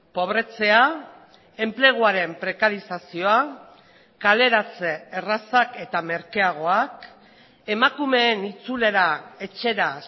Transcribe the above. pobretzea enpleguaren prekarizazioa kaleratze errazak eta merkeagoak emakumeen itzulera etxera